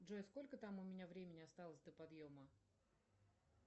джой сколько там у меня времени осталось до подъема